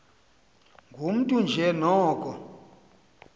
ngumntu nje noko